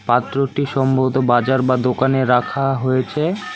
পাত্রটি সম্ভবত বাজার বা দোকানে রাখা হয়েছে।